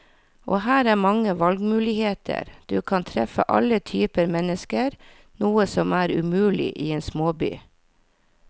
Og her er mange valgmuligheter, du kan treffe alle typer mennesker, noe som er umulig i en småby.